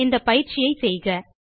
இந்த பயிற்சியை செய்க